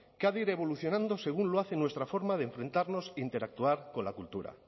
que ha de ir evolucionando según lo hace nuestra forma de enfrentarnos interactuar con la cultura